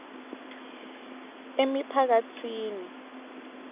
emiphakatsini